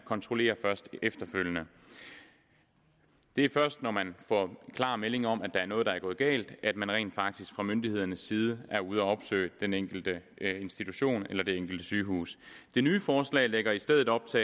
kontrollerer efterfølgende det er først når man får en klar melding om at noget er gået galt at man rent faktisk fra myndighedernes side er ude at opsøge den enkelte institution eller det enkelte sygehus det nye forslag lægger i stedet op til